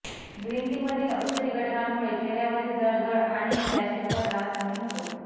green tea मधील औषधी घटकांमुळे चेहऱ्यावरील जळजळ आणि रॅशेजचा त्रास कमी होतो